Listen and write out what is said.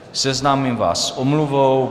Seznámím vás s omluvou.